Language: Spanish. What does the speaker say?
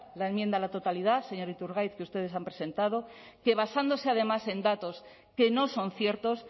la enmienda a la totalidad señor iturgaiz que ustedes han presentado que basándose además en datos que no son ciertos